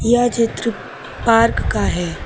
यह चित्र पार्क का है।